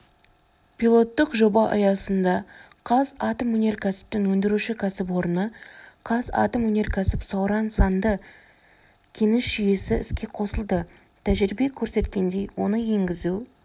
пилоттық жоба аясында қазатомөнеркәсіптің өндіруші кәсіпорны қазатомөнеркәсіп-сауран санды кеніш жүйесі іске қосылды тәжірибе көрсеткендей оны енгізу